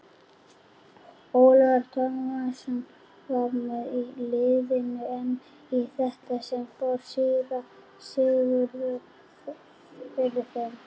Ólafur Tómasson var með í liðinu en í þetta sinn fór síra Sigurður fyrir þeim.